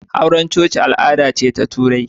Auren coci al'ada ce ta Turai.